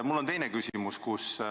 Mul on teine küsimus.